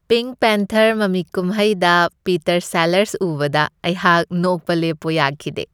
Pink panther ꯃꯃꯤ ꯀꯨꯝꯍꯩꯗ Peter Sellers ꯎꯕꯗ ꯑꯩꯍꯥꯛ ꯅꯣꯛꯄ ꯂꯦꯞꯄꯣ ꯌꯥꯈꯤꯗꯦ ꯫